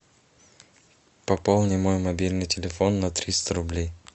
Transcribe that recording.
пополни мой мобильный телефон на триста рублей